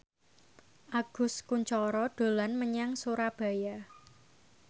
Agus Kuncoro dolan menyang Surabaya